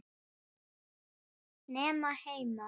Nema heima.